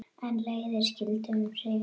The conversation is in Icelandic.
En leiðir skildu um sinn.